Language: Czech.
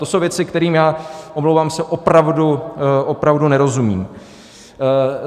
To jsou věci, kterým já, omlouvám se, opravdu nerozumím.